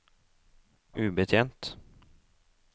ubetjent